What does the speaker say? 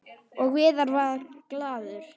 Og Viðar varð glaður.